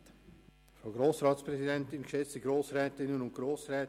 Das Wort hat der Regierungsrat.